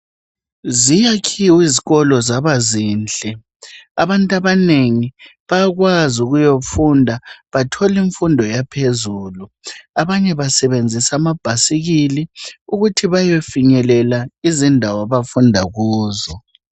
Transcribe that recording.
Ziyakhiwe izikolo zabazinhle abantu abanengi bayakwazi ukuyofunda bathole imfundo yaphezulu. Abanye basebenzisa amabhasikili ukuthi bayefinyelela izindawo abafunda kuzo.